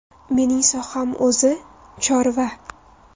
Menining soham o‘zi – chorva.